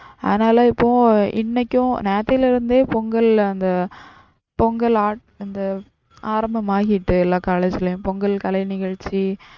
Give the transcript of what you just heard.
அதுனால இப்போ இன்னைக்கும் நேத்துல இருந்தே பொங்கல் அந்த பொங்கல் அந்த ஆரம்பம் ஆகிட்டு எல்லா college லையும் பொங்கல் கலை நிகழ்ச்சி